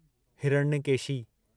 Hiranyakeshi